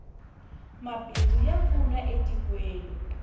mabindzu ya pfuna e tikweni